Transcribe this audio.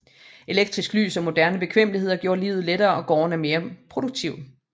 Elektrisk lys og moderne bekvemmeligheder gjorde livet lettere og gårdene mere produktive